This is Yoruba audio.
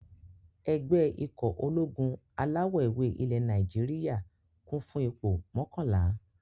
Ẹgbẹ́ ikọ̀ ológun alawọ̀-ewé ilẹ̀ Nàìjíríyà, kún fún ipò mọ́kànlá